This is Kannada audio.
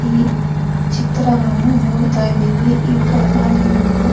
ಈ ಚಿತ್ರವನ್ನು ನೋಡ್ತಾ ಇದ್ದಿವಿ ಈ ಕಾಡಾನೆ ಅನ್ನು--